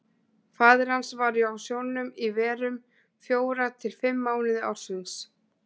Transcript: Faðir hans var á sjónum í verum, fjóra til fimm mánuði ársins.